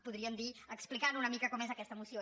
podríem dir explicant una mica com és aquesta moció